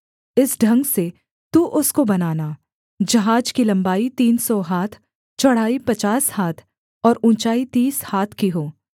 इस ढंग से तू उसको बनाना जहाज की लम्बाई तीन सौ हाथ चौड़ाई पचास हाथ और ऊँचाई तीस हाथ की हो